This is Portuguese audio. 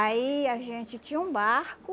Aí a gente tinha um barco.